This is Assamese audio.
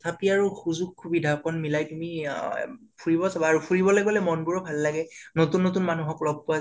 তথাপিও আৰু সুজুক সুবিধা কণ মিলাই পিনি অ অ ফুৰিব যাবা আৰু । ফুৰিবলৈ গলে মনবোৰো ভাল লাগে, নতুন নতুন মানুহকো লগ পোৱা যাই